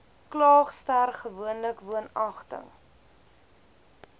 klaagster gewoonlik woonagtig